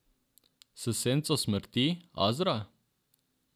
S senco smrti, Azra?